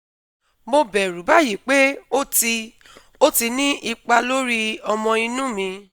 Mo bẹ̀rù báyìí pé ó ti ó ti ní ipa lórí ọmọ inú mi